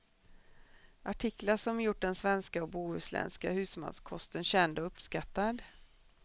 Artiklar som gjort den svenska och bohuslänska husmanskosten känd och uppskattad.